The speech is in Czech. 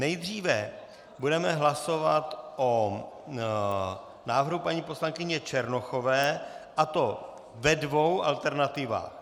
Nejdříve budeme hlasovat o návrhu paní poslankyně Černochové, a to ve dvou alternativách.